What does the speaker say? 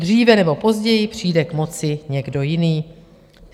Dříve nebo později přijde k moci někdo jiný.